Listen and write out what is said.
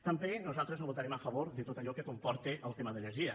també nosaltres no votarem a favor de tot allò que comporta el tema d’energia